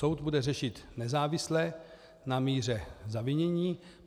Soud bude řešit nezávisle na míře zavinění.